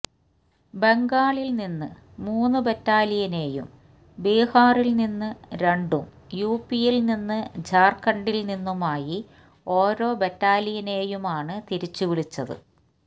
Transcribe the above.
ബംഗാളില് നിന്ന് മൂന്ന് ബറ്റാലിയനേയും ബിഹാറില് നിന്ന് രണ്ടും യുപിയില് നിന്നും ജാര്ഖണ്ഡില് നിന്നുമായി ഒരോ ബറ്റാലിയനേയുമാണ് തിരിച്ചുവിളിച്ചത്